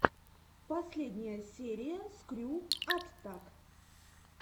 последняя серия скрю аттак